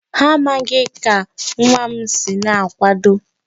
Ha amaghị ka nwa m si na-akwado.